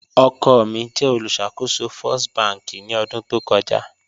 Ọkọ mi jẹ olùṣakòsò First bankì ni ọdun tó kọja